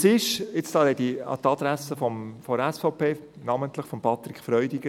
Jetzt wende ich mich an die SVP, und namentlich an Patrick Freudiger: